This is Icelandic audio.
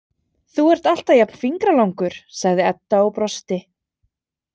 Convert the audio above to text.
Þú ert alltaf jafn fingralangur, sagði Edda og brosti.